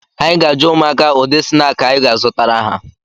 Anyị ga-ajụ ụmụaka ụdị snaakị anyị ga-azụtara ha